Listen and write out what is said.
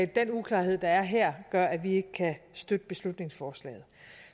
den uklarhed der er her gør at vi ikke kan støtte beslutningsforslaget